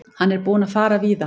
Hann er búinn að fara víða.